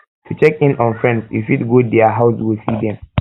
to check in on friends you fit go there house go see them